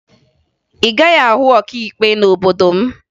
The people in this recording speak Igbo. Ị gaghị ahụ ọkaikpe n'obodo m